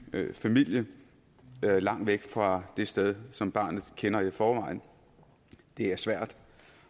familie langt væk fra det sted som barnet kender i forvejen det er svært